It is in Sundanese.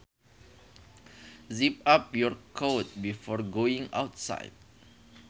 Zip up your coat before going outside